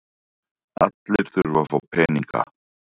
Allir þurfa að fá peninga.